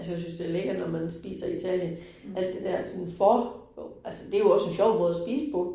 Altså jeg synes det lækkert, når man spiser i Italien alt det der sådan for altså det jo også en sjov måde at spise på